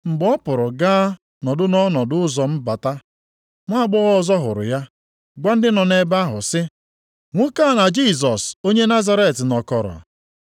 Mgbe ọ pụrụ gaa nọdụ nʼọnụ ụzọ mbata, nwaagbọghọ ọzọ hụrụ ya, gwa ndị nọ nʼebe ahụ sị, “Nwoke a na Jisọs onye Nazaret nọkọrọ.”